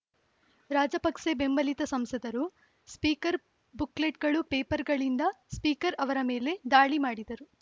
ರಾಜಪಕ್ಸೆ ಬೆಂಬಲಿತ ಸಂಸದರು ಸ್ಪೀಕರ್‌ ಬುಕ್‌ಲೆಟ್‌ಗಳು ಪೇಪರ್‌ಗಳಿಂದ ಸ್ಪೀಕರ್‌ ಅವರ ಮೇಲೆ ದಾಳಿ ಮಾಡಿದರು